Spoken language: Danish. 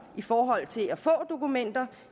i forhold til at få dokumenter